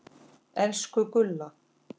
Elsku Gulla.